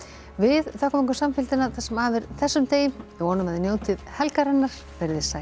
við þökkum ykkur samfylgdina það sem af er þessum degi vonum að þið njótið helgarinnar veriði sæl